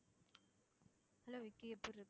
hello Vicky எப்படி ?